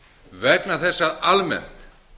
vegna þess að almennt